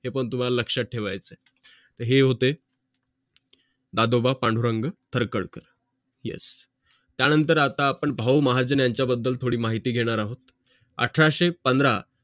हे पण तुंम्हाला लक्षात ठेवायचं आहे हे होते दादोबा पांडुरंग थरकडकर त्यानंतर आता आपण पाहून महाजन यांचा बद्दल थोडी माहिती घेणार आहोत अठराशे पंधरा